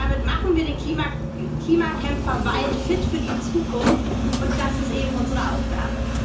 Damit machen wir den Klimakämpfer Wald fit für die Zukunft, und das ist eben unsere Aufgabe.